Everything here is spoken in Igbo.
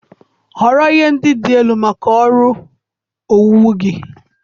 Họrọ ihe ndị dị elu maka ọrụ owuwu gị